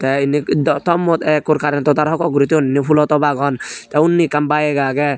te indi thommut ekkur karento tar hok hok guri thoyun indi fhoolo top agon tee undi ekkan bike agey.